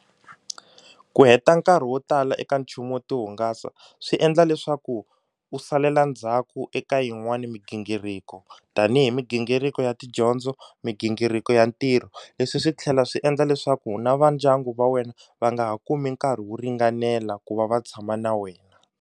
Ku heta nkarhi wo tala eka nchumu wo ti hungasa swi endla leswaku u salela ndzhaku eka yin'wani migingiriko tanihi migingiriko ya tidyondzo migingiriko ya ntirho leswi swi tlhela swi endla leswaku na va ndyangu va wena va nga ha kumi nkarhi wo ringanela ku va va tshama na wena.